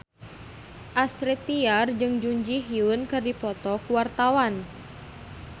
Astrid Tiar jeung Jun Ji Hyun keur dipoto ku wartawan